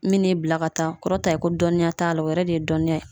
Min n'i bila ka taa o kɔrɔta ye ko dɔnniya t'a la, o yɛrɛ de ye dɔnniya ye.